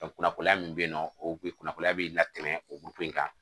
kunnafoniya min bɛ yen nɔ o kun ye kunnafoniya bɛ latɛmɛ o kan